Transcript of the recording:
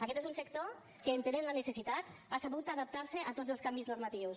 aquest és un sector que entenent la necessitat ha sabut adaptar se a tots els canvis normatius